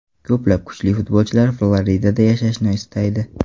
Ko‘plab kuchli futbolchilar Floridada yashashni istaydi.